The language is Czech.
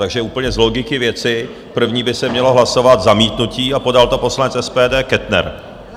Takže úplně z logiky věci první by se mělo hlasovat zamítnutí a podal to poslanec SPD Kettner.